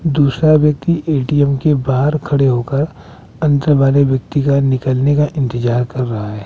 दूसरा व्यक्ति ए_टी_ए_म के बाहर खड़े होकर अंत व्यक्ति का निकलने का इंतजार कर रहा है।